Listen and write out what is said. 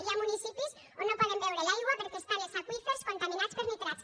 hi ha municipis on no poden beure l’aigua perquè hi han els aqüífers contaminats per nitrats